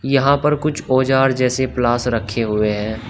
यहां पर कुछ औजार जैसे प्लास रखे हुए हैं।